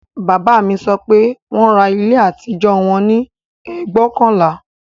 Bàbá mi sọ pé wọn ra ilé àtijọ́ wọn ní ẹgbóokànlá